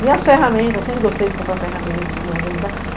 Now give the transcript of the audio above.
Minhas ferramentas, eu sempre gostei de comprar ferramentas, de me organizar.